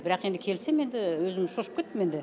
бірақ енді келсем енді өзім шошып кеттім енді